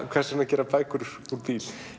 hvers vegna að gera bækur úr bíl